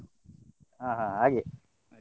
ಹಾ ಹಾ ಹಾಗೆ.